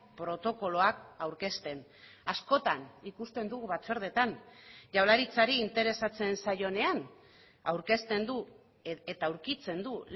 protokoloak aurkezten askotan ikusten dugu batzordeetan jaurlaritzari interesatzen zaionean aurkezten du eta aurkitzen du